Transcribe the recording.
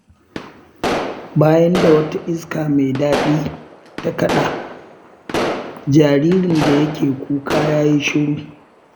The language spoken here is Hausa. Bayan da wata iska mai daɗi ta kaɗa, jaririn da yake kuka ya yi shiru.